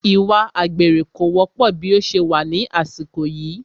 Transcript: Ìwà àgbèrè kò wọ́pọ̀ bí ó ṣe wà ní àsìkò yìí